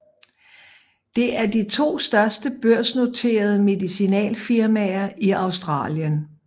Det er de to største børsnoterede medicinalfirmaer i Australien